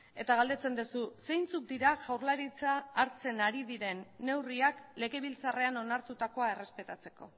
eta galdetzen duzu zeintzuk dira jaurlaritza hartzen ari diren neurriak legebiltzarrean onartutakoa errespetatzeko